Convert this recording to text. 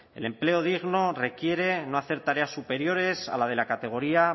el empleo digno requiere no hacer tareas superiores a las de la categoría